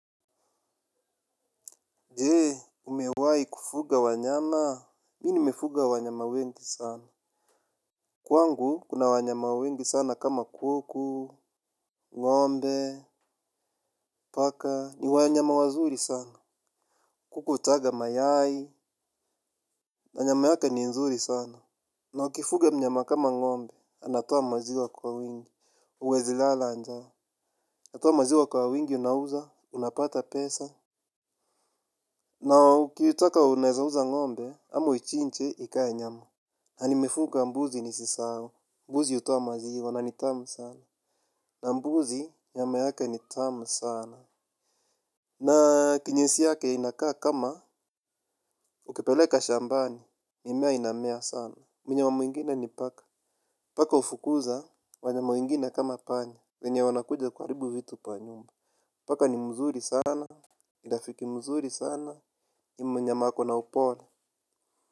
Je, umewai kufuga wanyama, mimi nimefuga wanyama wengi sana. Kwangu, kuna wanyama wengi sana kama kuku, ng'ombe, paka, ni wanyama wazuri sana. Kuku hutaga mayai, na nyama yake ni nzuri sana. Na ukifuga mnyama kama ng'ombe, anatoa maziwa kwa wingi huwezi lala njaa, anatoa maziwa kwa wingi unauza, unapata pesa. Na ukitaka unaeza uza ng'ombe, ama uichinje, ikae nyama. Na nimefuga mbuzi nisisahau. Mbuzi hutoa maziwa na ni tamu sana. Na mbuzi nyama yake ni tamu sana. Na kinyesi yake inakaa kama ukipeleka shambani mimea inamea sana. Mnyama mwingine ni paka. Paka hufukuza wanyama wengine kama panya. Wenye wanakuja kuharibu vitu pa nyumba. Paka ni mzuri sana ni rafiki mzuri sana ni mnyama ako na upole.